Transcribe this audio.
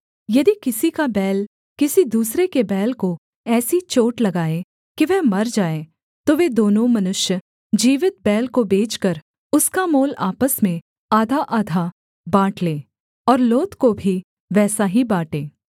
यदि किसी का बैल किसी दूसरे के बैल को ऐसी चोट लगाए कि वह मर जाए तो वे दोनों मनुष्य जीवित बैल को बेचकर उसका मोल आपस में आधाआधा बाँट लें और लोथ को भी वैसा ही बाँटें